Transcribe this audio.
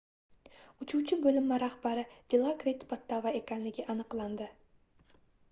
uchuvchi boʻlinma rahbari dilokrit pattava ekanligi aniqlandi